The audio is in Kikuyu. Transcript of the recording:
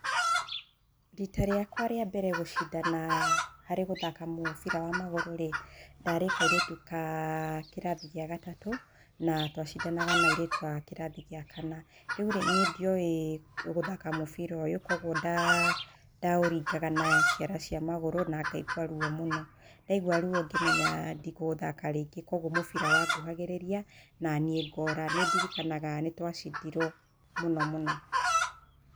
Rita rĩakwa rĩa mbere gũcindana harĩ gũthaka mũbira wa magũrũ rĩ, ndarĩ kairĩtu ka kĩrathi gĩa gatatũ na tũacindanaga na airĩtu a kĩrathi gĩa kana. Rĩu niĩ ndioĩ gũthaka mũbira ũyũ, koguo ndaũringaga na ciara cia magũrũ na ngaigua ruo mũno, ndaigua ruo ngĩmenya ndikũũthaka rĩngĩ. Koguo mũbira wanguhagĩrĩria, naniĩ ngora. Nĩ ndirikanaga nĩ twacindirwo mũno mũno.